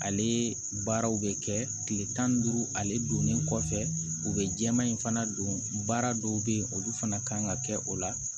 Ale baaraw bɛ kɛ kile tan ni duuru ale donnen kɔfɛ u bɛ jɛman in fana don baara dɔw bɛ yen olu fana kan ka kɛ o la